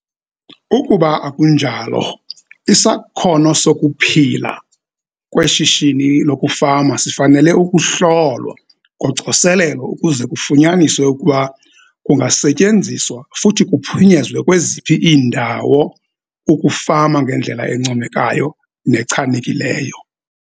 Ukuba akunjalo, isakhono sokuphila kweshishini lokufama sifanele ukuhlolwa ngocoselelo ukuze kufunyaniswe ukuba kungasetyenziswa futhi kuphunyezwe kweziphi iindawo ukufama ngendlela encomekayo nechanekileyo.